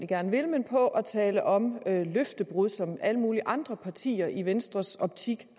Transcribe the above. gerne vil men på at tale om løftebrud som alle mulige andre partier i venstres optik